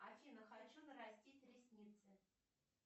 афина хочу нарастить ресницы